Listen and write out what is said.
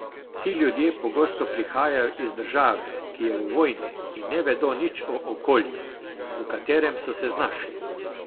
Ti ljudje pogosto prihajajo iz države, ki je v vojni, in ne vedo nič o okolju, v katerem so se znašli.